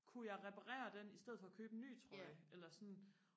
kunne jeg reparere den i stedet for at købe en ny trøje eller sådan